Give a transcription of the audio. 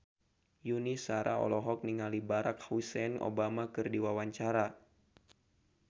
Yuni Shara olohok ningali Barack Hussein Obama keur diwawancara